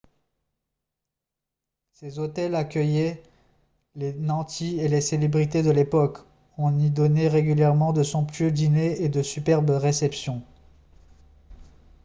ces hôtels accueillaient les nantis et les célébrités de l'époque et on y donnait régulièrement de somptueux dîners et de superbes réceptions